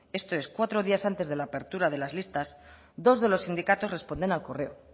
esto es cuatro días antes de la apertura de las listas dos de los sindicatos responden al correo